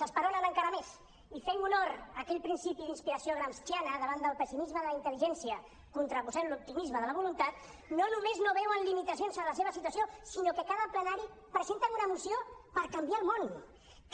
s’esperonen encara més i fent honor a aquell principi d’inspiració gramsciana davant del pessimisme de la intel·ligència contraposem l’optimisme de la voluntat no només no veuen limitacions en la seva situació sinó que cada plenari presenten una moció per canviar el món